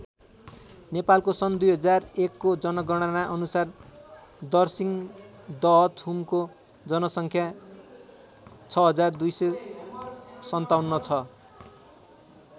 नेपालको सन् २००१को जनगणना अनुसार दर्सिङ दहथुमको जनसङ्ख्या ६२५७ छ।